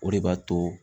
O de b'a to